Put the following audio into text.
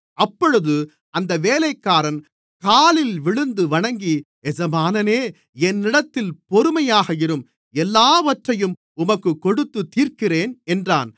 அப்பொழுது அந்த வேலைக்காரன் காலில் விழுந்து வணங்கி எஜமானனே என்னிடத்தில் பொறுமையாக இரும் எல்லாவற்றையும் உமக்குக் கொடுத்துத்தீர்க்கிறேன் என்றான்